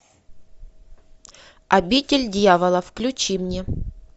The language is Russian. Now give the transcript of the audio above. обитель дьявола включи мне